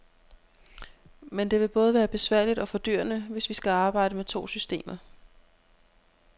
Men det vil både være besværligt og fordyrende, hvis vi skal arbejde med to systemer.